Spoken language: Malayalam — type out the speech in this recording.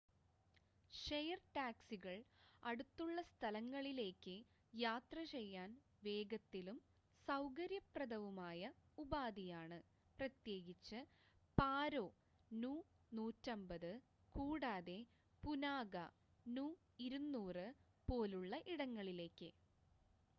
ഷെയര്‍ ടാക്സികള്‍ അടുത്തുള്ള സ്ഥലങ്ങളിലേയ്ക്ക് യാത്രചെയ്യാന്‍ വേഗത്തിലും സൌകര്യപ്രദവുമായ ഉപാധിയാണ്‌ പ്രത്യേകിച്ച് പാരോ നു 150 കൂടാതെ പുനാഖ നു 200 പോലുള്ള ഇടങ്ങളിലേയ്ക്ക്